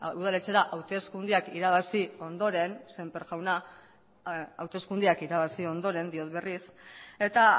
udaletxera hauteskundeak irabazi ondoren sémper jauna hauteskundeak irabazi ondoren diot berriz eta